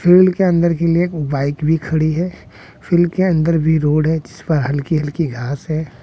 Field के अंदर की एक बाइक भी खड़ी है फील्ड के अंदर भी रोड है जिस पर हल्की-हल्की घास है।